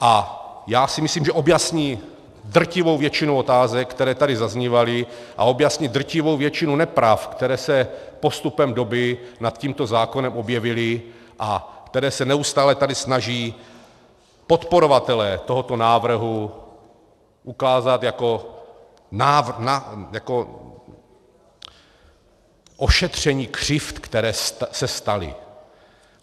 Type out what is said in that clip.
A já si myslím, že objasní drtivou většinu otázek, které tady zaznívaly, a objasní drtivou většinu nepravd, které se postupem doby nad tímto zákonem objevily a které se neustále tady snaží podporovatelé tohoto návrhu ukázat jako ošetření křivd, které se staly.